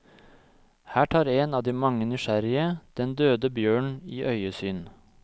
Her tar en av de mange nysgjerrige den døde bjørnen i øyesyn.